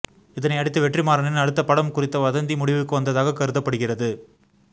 இதனை அடுத்து வெற்றிமாறனின் அடுத்த படம் குறித்த வதந்தி முடிவுக்கு வந்ததாக கருதப்படுகிறது